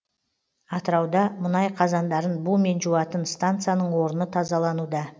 атырауда мұнай қазандарын бумен жуатын станцияның орны тазалануда